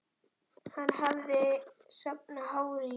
Hann hafði safnað hári í